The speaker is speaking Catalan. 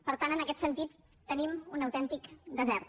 per tant en aquest sentit tenim un autèntic desert